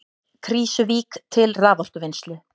Krýsuvík til raforkuvinnslu.